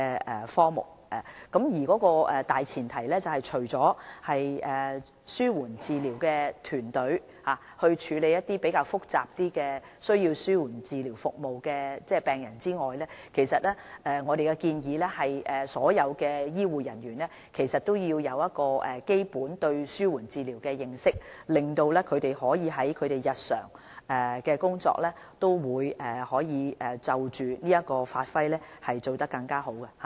我們的大前提，是由紓緩治療團隊處理情況較複雜而需要紓緩治療服務的病人，而我們的建議是所有醫護人員皆需要對紓緩治療有基本認識，讓他們在日常工作中可以在這方面發揮得更好。